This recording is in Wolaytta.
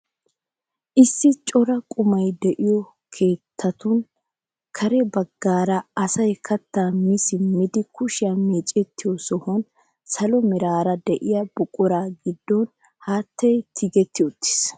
Issi cora qumay de'iyoo keettatun kare baggaara asay kattaa mi simmidi kushiyaa meecettiyoo sohuwaan salo meraara de'iyaa buquraa giddon haattay tigetti uttiis!